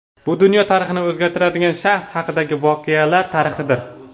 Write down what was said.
Bu dunyo tarixini o‘zgartirgan shaxs haqidagi voqelar tarixidir.